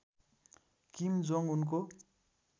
किम Jong उनको